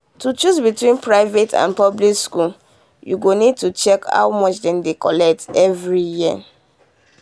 to choose between private and public school you go need to check how much dem dey collect every year.